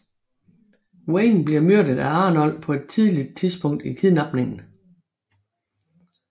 Wayne bliver myrdet af Arnold på et tidligt tidspunkt i kidnapningen